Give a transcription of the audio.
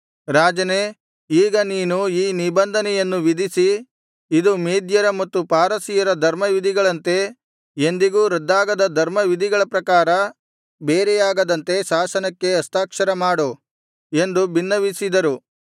ರಾಜನೇ ಈಗ ನೀನು ಈ ನಿಬಂಧನೆಯನ್ನು ವಿಧಿಸಿ ಇದು ಮೇದ್ಯರ ಮತ್ತು ಪಾರಸಿಯರ ಧರ್ಮವಿಧಿಗಳಂತೆ ಎಂದಿಗೂ ರದ್ದಾಗದ ಧರ್ಮವಿಧಿಗಳ ಪ್ರಕಾರ ಬೇರೆಯಾಗದಂತೆ ಶಾಸನಕ್ಕೆ ಹಸ್ತಾಕ್ಷರ ಮಾಡು ಎಂದು ಬಿನ್ನವಿಸಿದರು